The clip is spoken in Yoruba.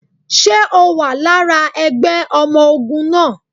Ṣe o wà lára ẹgbẹ́ ọmọ ogun náà?